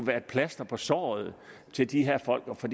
være et plaster på såret til de her folk for